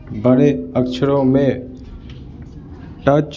बड़े अक्षरों में टच --